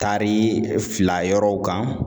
Taari fila yɔrɔw kan